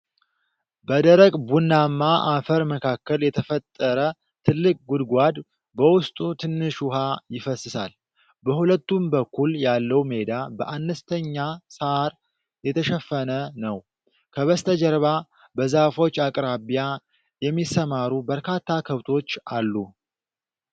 በደረቅ ቡናማ አፈር መካከል የተፈጠረ ጥልቅ ጉድጓድ፣ በውስጡ ትንሽ ውኃ ይፈስሳል። በሁለቱም በኩል ያለው ሜዳ በአነስተኛ ሣር የተሸፈነ ነው። ከበስተጀርባ በዛፎች አቅራቢያ የሚሰማሩ በርካታ ከብቶች አሉ።